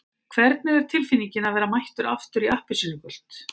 Hvernig er tilfinningin að vera mættur aftur í appelsínugult?